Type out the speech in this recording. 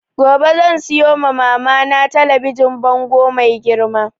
Gobe zan siyo ma mama na talabijin bango mai girma